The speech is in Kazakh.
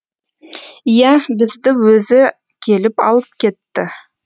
иә бізді өзі келіп алып кетті